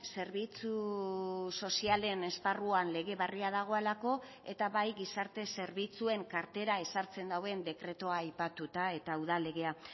zerbitzu sozialen esparruan lege berria dagoelako eta bai gizarte zerbitzuen kartera ezartzen duen dekretua aipatuta eta udal legea